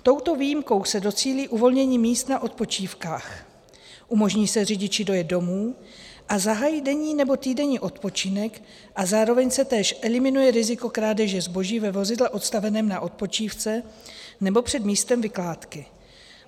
Touto výjimkou se docílí uvolnění míst na odpočívkách, umožní se řidiči dojet domů a zahájit denní nebo týdenní odpočinek a zároveň se též eliminuje riziko krádeže zboží ve vozidle odstaveném na odpočívce nebo před místem vykládky.